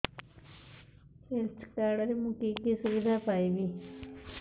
health card ରେ ମୁଁ କି କି ସୁବିଧା ପାଇବି